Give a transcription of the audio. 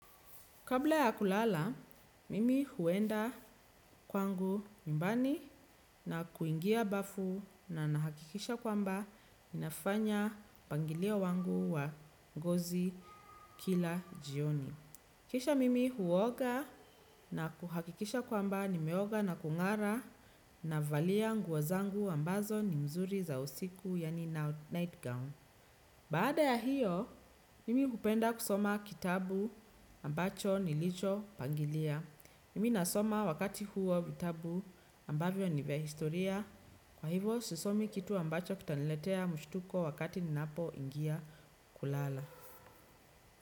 Kabla ya kulala, mimi huenda kwangu nyumbani na kuingia bafu na nahakikisha kwamba ninafanya mpangilio wangu wa ngozi kila jioni. Kisha mimi huoga na kuhakikisha kwamba nimeoga na kungara navalia nguo zangu ambazo ni mzuri za usiku yani nightgown. Baada ya hiyo, nimi hupenda kusoma kitabu ambacho nilicho pangilia. Mimi nasoma wakati huo vitabu ambavyo ni vya historia. Kwa hivo, sisomi kitu ambacho kitaniletea mshtuko wakati ninapoingia kulala.